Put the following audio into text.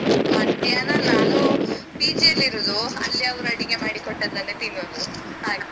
ಮಧ್ಯಾಹ್ನ ನಾನು PG ಯಲ್ಲಿ ಇರೋದು ಅಲ್ಲಿ ಅವ್ರು ಅಡಿಗೆ ಮಾಡಿ ಕೊಟ್ಟದ್ದನ್ನೇ ತಿನ್ನೋದು ಹಾಗೆ.